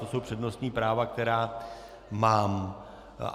To jsou přednostní práva, která mám.